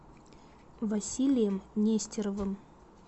василием нестеровым